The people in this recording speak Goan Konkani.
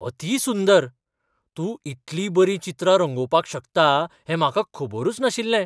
अती सुंदर! तूं इतली बरी चित्रां रंगोवपाक शकता हें म्हाका खबरूच नाशिल्लें!